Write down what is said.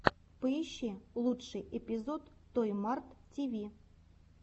поищи лучший эпизод той март ти ви